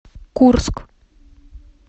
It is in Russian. курск